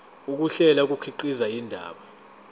ukuhlela kukhiqiza indaba